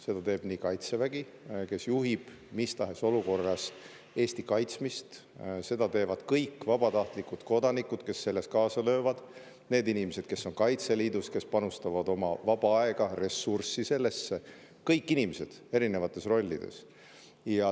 Neid teeb nii Kaitsevägi, kes juhib mis tahes olukorras Eesti kaitsmist, neid teevad kõik vabatahtlikud kodanikud, kes selles kaasa löövad, need inimesed, kes on Kaitseliidus, kes panustavad oma vaba aega ja ressurssi sellesse – kõik inimesed erinevates rollides.